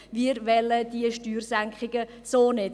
Wir wollen diese Steuersenkungen so nicht.